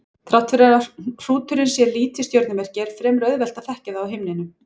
Þrátt fyrir að hrúturinn sé lítið stjörnumerki er fremur auðvelt að þekkja það á himninum.